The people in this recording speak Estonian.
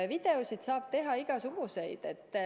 Videoid saab teha igasuguseid.